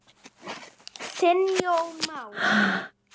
Þinn Jón Már.